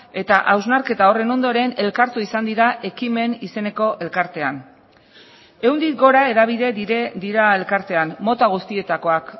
eta hausnarketa horren ondoren elkartu izan dira hekimen izeneko elkartean ehundik gora hedabide dira elkartean mota guztietakoak